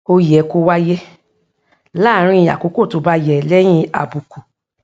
ó yẹ kó wáyé láàárín àkókò tó bá yẹ léyìn àbùkù